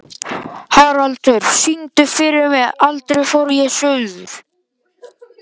Haraldur, syngdu fyrir mig „Aldrei fór ég suður“.